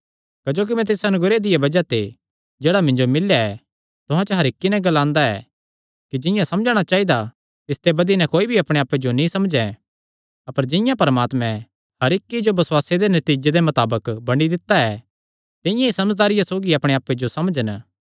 क्जोकि मैं तिस अनुग्रह दिया बज़ाह ते जेह्ड़ा मिन्जो मिल्लेया ऐ तुहां च हर इक्की नैं ग्लांदा ऐ कि जिंआं समझणा चाइदा तिसते बधी नैं कोई भी अपणे आप्पे जो नीं समझैं अपर जिंआं परमात्मैं हर इक्की जो बसुआसे दे नतीजे दे मताबक बंडी दित्ता ऐ तिंआं ई समझदारिया सौगी अपणे आप्पे जो समझन